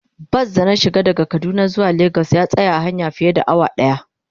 Bas da na shiga daga kaduna zuwa lagos ya tsaya a hanya fiye da awa daya.